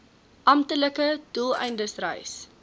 amptelike doeleindes reis